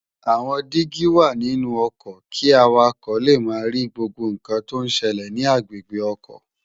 Awòn digi wá ninú òkò ki àwákò lé má ri gbógbó nkán tó n sèlè ni agbégbé òkò